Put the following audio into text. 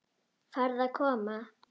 Farðu að koma.